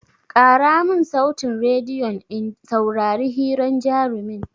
Ƙara mun sautin rediyon in saurari hiran jarumin!